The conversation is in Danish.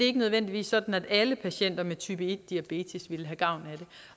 ikke nødvendigvis sådan at alle patienter med type en diabetes ville have gavn